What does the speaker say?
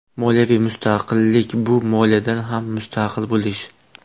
Moliyaviy mustaqillik bu moliyadan ham mustaqil bo‘lish.